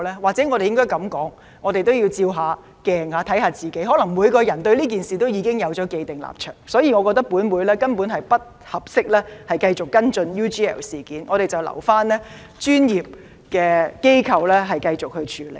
或許我們應該這樣說，我們也要照照鏡子，審視一下自己，可能每個人對這事已有既定立場，所以我認為本會根本不適宜繼續跟進 UGL 事件，留待我們的專業機構繼續處理。